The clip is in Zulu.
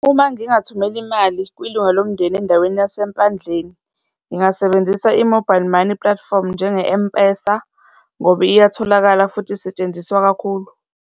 Uma ngingathumela imali kwilunga lomndeni endaweni yaseMpandleni, ngingasebenzisa i-mobile money platform njenge-M_PESA ngoba iyatholakala futhi isetshenziswa kakhulu.